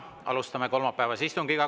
Alustame kolmapäevase istungiga.